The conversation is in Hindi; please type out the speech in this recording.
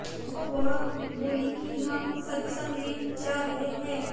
तो वह बोली कि हम सत्संग में जा रहे हैं